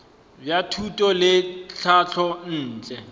bja thuto le tlhahlo ntle